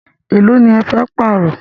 Élo ní ẹ fẹ́ pààrọ̀?